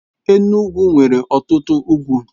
Enugwu nwere ọtụtụ ugwu.